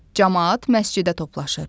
Camaat məscidə toplaşır.